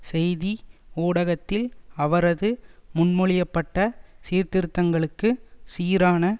செய்தி ஊடகத்தில் அவரது முன்மொழிய பட்ட சீர்திருத்தங்களுக்கு சீரான